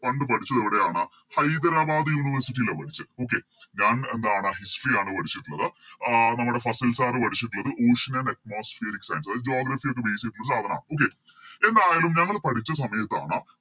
പണ്ട് പഠിച്ചത് എവിടെയാണ് ഹൈദരാബാദ് University ലാ പഠിച്ചെ Okay ഞാൻ എന്താണ് History ആണ് പഠിച്ചിറ്റ്ള്ളത് ആഹ് നമ്മുടെ ഫസിൽ Sir പഠിച്ചിറ്റിള്ളത് Atmospheric science ഒരു Geography ഒക്കെ Base ചെയ്തിട്ടുള്ള സാധന Okay എന്തായാലും ഞങ്ങള് പഠിച്ച സമയത്താണ്